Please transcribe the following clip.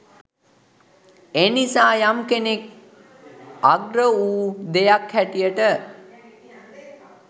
එනිසා යම් කෙනෙක් අග්‍ර වූ දෙයක් හැටියට